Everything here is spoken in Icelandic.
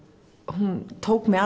hún tók mig